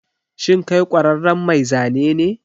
Shin kai ƙwararren mai zane ne?